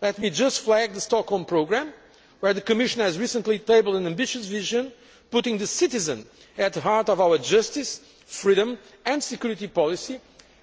Let me just flag the Stockholm programme, where the Commission has recently tabled an ambitious vision putting the citizen at the heart of our justice, freedom and security policy,